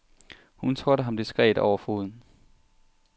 Hun trådte ham diskret over foden.